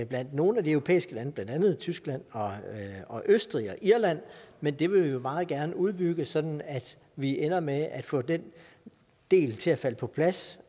blandt nogle af de europæiske lande blandt andet tyskland og østrig og irland men det vil vi jo meget gerne udbygge sådan at vi ender med at få den del til at falde på plads